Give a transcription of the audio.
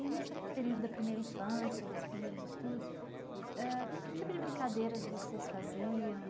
E nessa período da primeira infância, dos primeiros estudos ãh, que tipo de brincadeiras vocês faziam?